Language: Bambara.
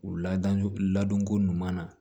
U ladon ladonko ɲuman na